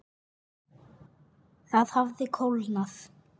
Það hafði kólnað.